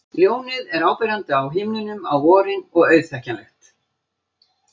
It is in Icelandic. Ljónið er áberandi á himninum á vorin og auðþekkjanlegt.